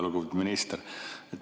Lugupeetud minister!